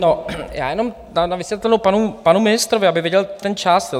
No, já jenom na vysvětlenou panu ministrovi, aby viděl ten čas.